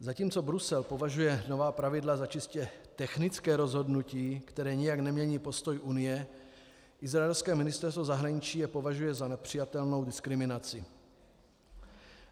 Zatímco Brusel považuje nová pravidla za čistě technické rozhodnutí, které nijak nemění postoj Unie, izraelské ministerstvo zahraničí je považuje za nepřijatelnou diskriminaci.